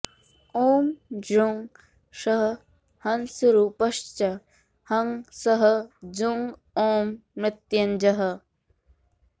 ॐ जूं सः हंसरूपश्च हं सः जुं ॐ मृत्यञ्जयः